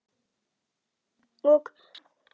Og lokuðum að okkur.